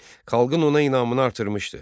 Xalqın ona inamını artırmışdı.